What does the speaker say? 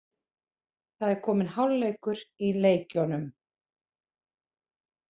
Það er kominn hálfleikur í leikjunum